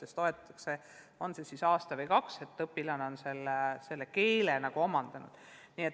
Siis toetatakse veel aasta või kaks ja eeldatakse, et õpilane on keele omandanud.